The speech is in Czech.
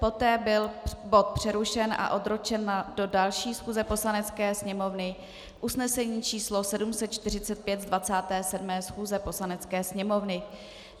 Poté byl bod přerušen a odročen do další schůze Poslanecké sněmovny, usnesení číslo 745 z 27. schůze Poslanecké sněmovny.